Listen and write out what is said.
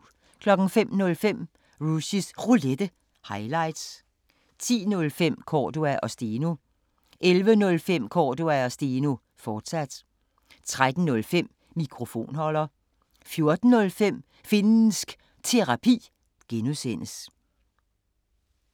05:05: Rushys Roulette – highlights 10:05: Cordua & Steno 11:05: Cordua & Steno, fortsat 13:05: Mikrofonholder 14:05: Finnsk Terapi (G)